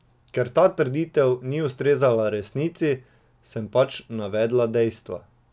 Ker ta trditev ni ustrezala resnici, sem pač navedla dejstva.